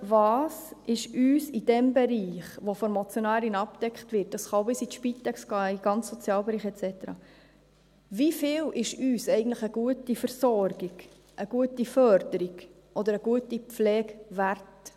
Was ist uns in dem Bereich, der von der Motionärin abgedeckt wird – das kann auch bis in die Spitex gehen, in den ganzen Sozialbereich et cetera –, wie viel ist uns eigentlich eine gute Versorgung, eine gute Förderung oder eine gute Pflege wert?